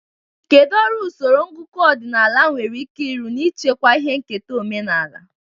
Kedu ọrụ usoro ngụkọ ọdịnala nwere ike ịrụ n'ichekwa ihe nketa omenala?